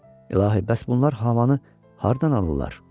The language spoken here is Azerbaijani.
İlahi, bəs bunlar havanı hardan alırlar?